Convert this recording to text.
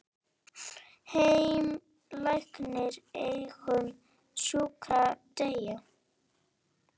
Heimir: Lætur einn sjúkling deyja?